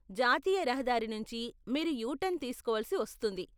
జాతీయ రహదారి నుంచి మీరు యూ టర్న్ తీసుకోవలసి వస్తుంది.